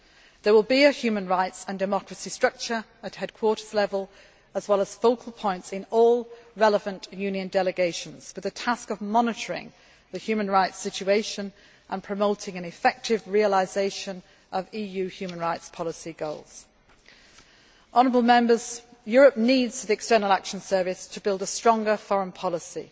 do. There will be a human rights and democracy structure at headquarters level as well as focal points in all relevant Union delegations with the task of monitoring the human rights situation and promoting an effective realisation of EU human rights policy goals. Honourable Members, Europe needs the External Action Service to build a stronger foreign policy.